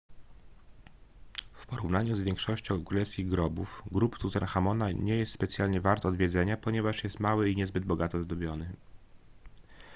w porównaniu z większością królewskich grobów grób tutenchamona nie jest specjalnie wart odwiedzenia ponieważ jest mały i niezbyt bogato zdobiony